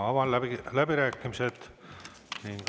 Avan läbirääkimised.